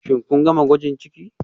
Shin kun gama gwajin ciki